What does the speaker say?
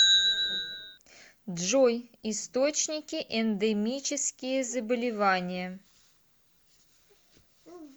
джой источники эндемические заболевания